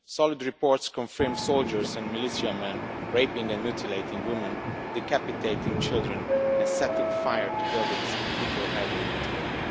Solid reports confirm soldiers and militiamen raping and mutilating women, decapitating children and setting fire to buildings with people herded into them.